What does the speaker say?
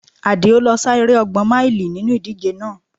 Adio lo sá eré ọgbọn máílì nínú ìdíje náà